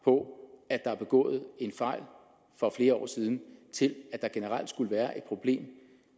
på at der er begået en fejl for flere år siden til at der generelt skulle være et problem